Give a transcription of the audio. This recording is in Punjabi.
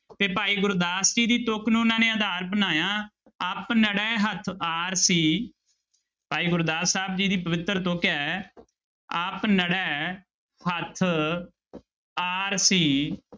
ਤੇ ਭਾਈ ਗੁਰਦਾਸ ਜੀ ਦੀ ਤੁੱਕ ਨੂੰ ਉਹਨਾਂ ਨੇ ਆਧਾਰ ਬਣਾਇਆ, ਆਪਨੜੇ ਹੱਥ ਆਰਸੀ ਭਾਈ ਗੁਰਦਾਸ ਸਾਹਿਬ ਜੀ ਦੀ ਪਵਿੱਤਰ ਤੁੱਕ ਹੈ ਆਪਨੜੇ ਹੱਥ ਆਰਸੀ